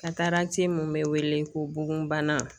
mun bɛ wele ko bugunbana.